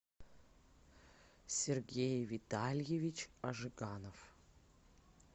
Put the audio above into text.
сергей витальевич ажиганов